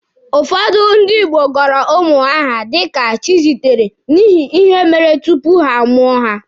Ụfọdụ ndị Igbo gọrọ ụmụ ha aha dika Chizitere n'ihi ihe mere tupu a mụọ ha.